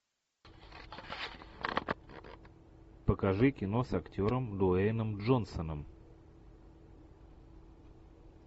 покажи кино с актером дуэйном джонсоном